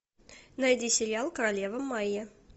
найди сериал королева майя